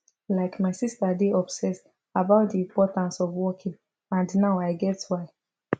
like my sister dey obsess about the importance of walking and now i get why